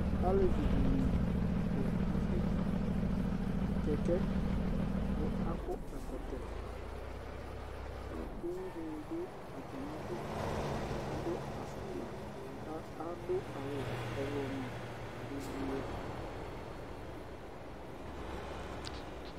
Alevi dɩnɩ ,tʋ aseku kɛkɛ, akɔ ɛkɔtɔUwui dɩnɩ dʋ atamidu Adʋ afʋkpa ,kʋ adʋ awʋ ɔɣlɔmɔ